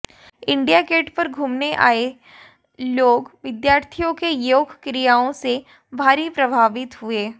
India Gate पर घूमने आए ये लोग विद्यार्थियों के योग क्रियाओं से भारी प्रभावित हुए